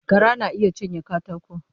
Gara na iya cinye katako.